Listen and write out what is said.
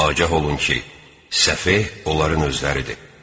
Agah olun ki, səfeh onların özləridir.